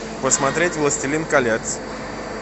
посмотреть властелин колец